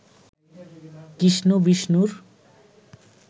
কৃষ্ণ বিষ্ণুর